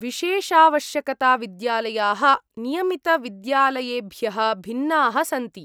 विशेषावश्यकताविद्यालयाः नियमितविद्यालयेभ्यः भिन्नाः सन्ति।